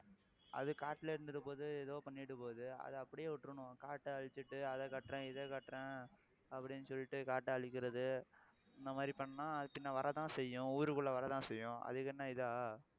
அது காட்டுல இருந்திட்டு போகுது ஏதோ பண்ணிட்டு போகுது அதை அப்படியே விட்டுறணும் காட்டை அழிச்சிட்டு அதை கட்டுறேன் இதை கட்டுறேன் அப்படின்னு சொல்லிட்டு காட்டை அழிக்கிறது இந்த மாதிரி பண்ணா பின்ன வரத்தான் செய்யும் ஊருக்குள்ள வரத்தான் செய்யும் அதுக்கு என்ன இதா